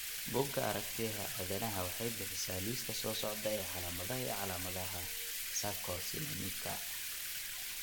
Bugga Aartigayaha Aadanaha waxay bixisaa liiska soo socda ee calaamadaha iyo calaamadaha Sarcosinemika.